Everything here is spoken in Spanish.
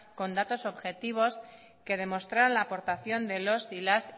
con datos objetivos que demostraran la aportación de los y las